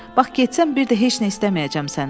Bax getsəm bir də heç nə istəməyəcəm səndən.